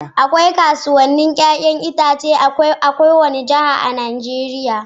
Akwai kasuwannin 'ya'yan itace a kowace Jiha a Najeriya.